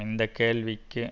இந்த கேள்விக்கு